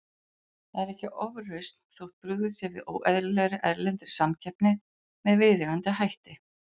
Það er ekki ofrausn þótt brugðist sé við óeðlilegri, erlendri samkeppni með viðeigandi hætti.